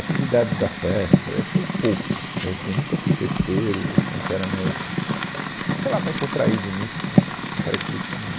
Atividade da festa, essa eu pouco, mas assim, eu nunca fui festeiro, eu sou um cara mais, sei lá, mais retraído nisso, né, uma característica minha.